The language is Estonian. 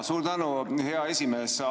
Suur tänu, hea esimees!